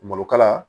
Malokala